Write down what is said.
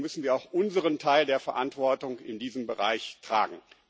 Deswegen müssen wir auch unseren Teil der Verantwortung in diesem Bereich tragen.